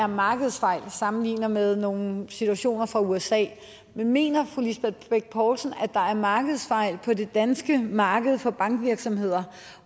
markedsfejl og sammenligner med nogle situationer fra usa men mener fru lisbeth bech poulsen at der er markedsfejl på det danske marked for bankvirksomheder